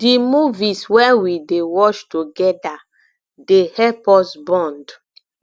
di movies wey we dey watch togeda dey help us bond